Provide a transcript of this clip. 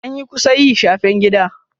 Anyi kusa yi shafen gida.